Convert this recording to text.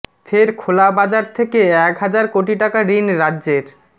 ফের খোলা বাজার থেকে এক হাজার কোটি টাকা ঋণ রাজ্যের